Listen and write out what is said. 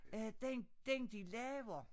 Øh den den de laver